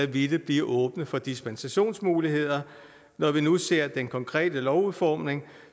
ville blive åbent for dispensationsmuligheder når vi nu ser den konkrete lovudformning